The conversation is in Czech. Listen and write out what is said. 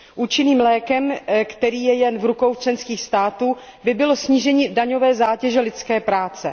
Účinným lékem, který je jen v rukou členských států, by bylo snížení daňové zátěže lidské práce.